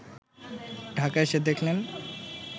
ঢাকা এসে দেখলেন